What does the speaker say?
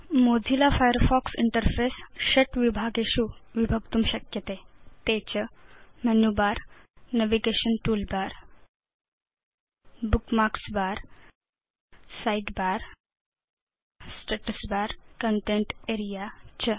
Mozilla Firefox interface षट् विभागेषु विभक्तुं शक्यते ते च menu bar navigation toolbar bookmarks bar side bar status bar content area च